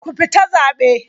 Ku fita zabe!